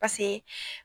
Paseke